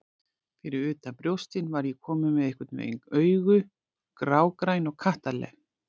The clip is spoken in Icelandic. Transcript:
Fyrir utan brjóstin var ég komin með einhvern veginn augu, grágræn og kattarleg.